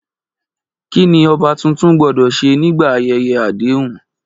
Kí ni ọba tuntun gbọ́dọ̀ ṣe nígbà ayẹyẹ àdéhùn?